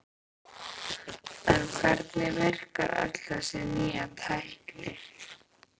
En hvernig virkar öll þessi nýja tækni?